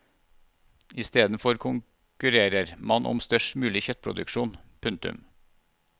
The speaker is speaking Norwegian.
Istedenfor konkurrerer man om størst mulig kjøttproduksjon. punktum